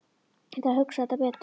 Ég þarf að hugsa þetta betur.